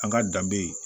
An ka danbe